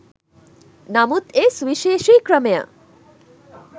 නමුත් ඒ සුවිශේෂී ක්‍රමය